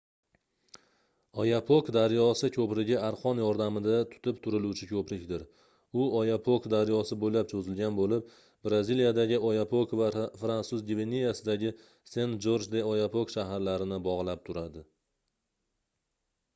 oyapok daryosi koʻprigi arqon yordamida tutib turiluvchi koʻprikdir u oyapock daryosi boʻylab choʻzilgan boʻlib braziliyadagi oyapok va fransuz gvianasidagi sen-jorj-de-oyapok shaharlarini bogʻlab turadi